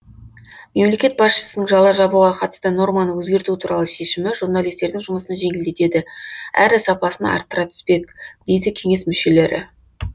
мемлекет басшысының жала жабуға қатысты норманы өзгерту туралы шешімі журналистердің жұмысын жеңілдетеді әрі сапасын арттыра түспек дейді кеңес мүшелері